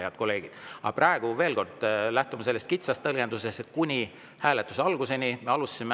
Head kolleegid, praegu, veel kord, me lähtume sellest kitsast tõlgendusest, et kuni hääletuse alguseni.